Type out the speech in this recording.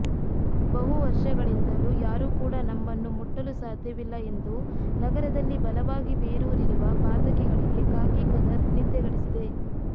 ಬಹು ವರ್ಷಗಳಿಂದಲೂ ಯಾರೂ ಕೂಡ ನಮ್ಮನ್ನು ಮುಟ್ಟಲು ಸಾಧ್ಯವಿಲ್ಲ ಎಂದು ನಗರದಲ್ಲಿ ಬಲವಾಗಿ ಬೇರೂರಿರಿರುವ ಪಾತಕಿಗಳಿಗೆ ಖಾಕಿ ಖದರ್ ನಿದ್ದೆಗೆಡಿಸಿದೆ